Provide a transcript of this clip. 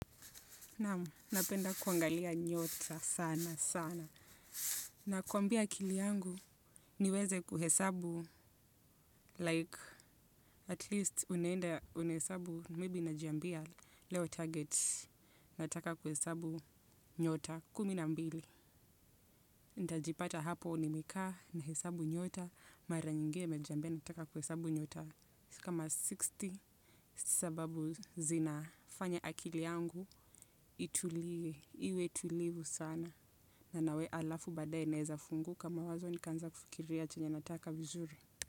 Namu, napenda kuangalia nyota sana sana. Nakuambia akili yangu niweze kuhesabu like at least unenda unesabu maybi najambia leo target nataka kuhesabu nyota kuminambili. Ntajipata hapo nimeka na hesabu nyota mara nyingi nimejambia nataka kuhesabu nyota kama sitini. Sababu zinafanya akili yangu itulie, iwe tulivu sana. Na nawe alafu badae naweza funguka kama mawazo nikaanza kufikiria chenye nataka vizuri.